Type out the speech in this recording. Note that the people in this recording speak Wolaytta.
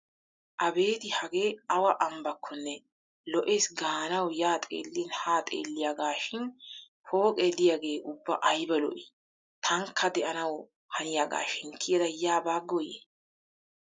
Abeeti hagee awa ambbaakkonne. lo'eesi gaanawu yaa xeellin haa xeelliyagaashi pooqe de'iyagee ubba ayba lo'ii? Tankka de'anawu haniyagaashin kiyada yaa baagooyye!